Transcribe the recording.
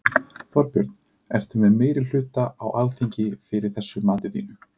Þorbjörn: Ertu með meirihluta á Alþingi fyrir þessu mati þínu?